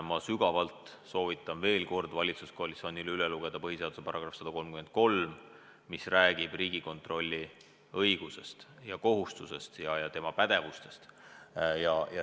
Ma väga soovitan veel kord valitsuskoalitsioonil üle lugeda põhiseaduse § 133, mis räägib Riigikontrolli õigustest ja kohustustest, tema pädevusest.